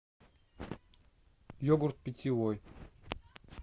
йогурт питьевой